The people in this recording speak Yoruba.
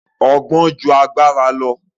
Ọgbọ́n ju agbára lọ